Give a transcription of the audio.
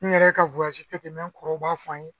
N yɛrɛ ka tɛmɛnen kɔrɔn u b'a fɔ an ye.